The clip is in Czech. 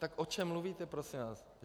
Tak o čem mluvíte, prosím vás?